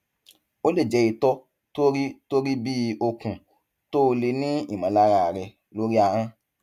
ó lè jẹ itọ tó rí tó rí bí okùn tó o lè ní ìmọlára rẹ lórí ahọn